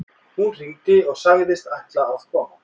Hún hringdi og sagðist ætla að koma.